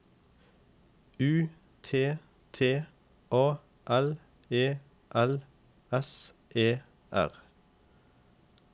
U T T A L E L S E R